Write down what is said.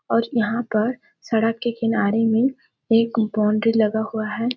और यहाँ पर सड़क के किनारे में एक बाउंड्री लगा हुआ हैं ।